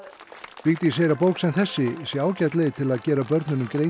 Vigdís segir að bók sem þessi sé ágæt leið til að gera börnunum grein